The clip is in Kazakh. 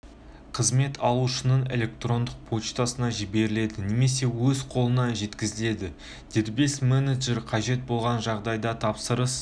қызмет алушының электрондық поштасына жіберіледі немесе өз қолына жеткізіледі дербес менеджер қажет болған жағдайда тапсырыс